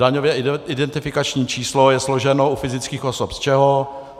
Daňové identifikační číslo je složeno u fyzických osob z čeho?